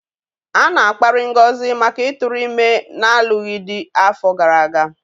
A na-akparị Ngozi maka ịtụrụ ime n'alụghị di afọ gara aga.